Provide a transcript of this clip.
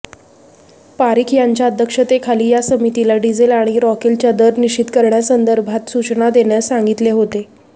पारिख यांच्या अध्यक्षतेखाली या समितीला डिझेल आणि रॉकेलच्या दर निश्चित करण्यासंदर्भात सूचना देण्यास सांगितले होते